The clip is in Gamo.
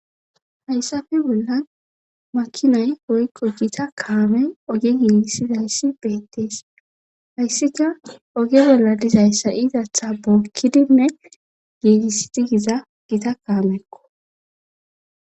hayssafe bolla makinay goykqo gita kaame oge giigissizayssi beettees hayssika oge bolla dizayssa iizatha bookkidinne giigisidigiza gita kaamekko